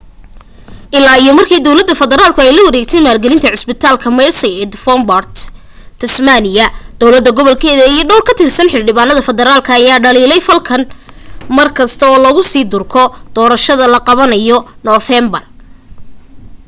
illaa iyo markii dawladda federaalku ay la wareegtay maalgelinta cusbitaalka mersey ee devenport tasmania dawlad goboleedka iyo dhowr ka tirsan xildhibaanada federaalka ayaa dhaliilay falkan markasta oo lagu sii durko doorashada la qabanayo noofeembar